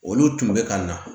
Olu tun bɛ ka na